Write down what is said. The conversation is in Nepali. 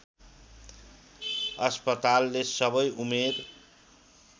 अस्पतालले सबै उमेर